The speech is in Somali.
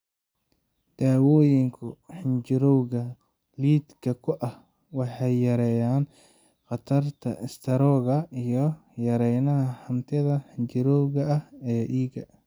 Daawooyinka xinjirowga lidka ku ah waxay yareeyaan khatarta istaroogga iyagoo yareynaya hantida xinjirowga ah ee dhiigga.